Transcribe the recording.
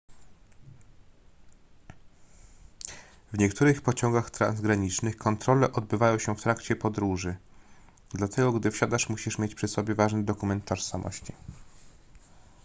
w niektórych pociągach transgranicznych kontrole odbywają się w trakcie podróży dlatego gdy wsiadasz musisz mieć przy sobie ważny dokument tożsamości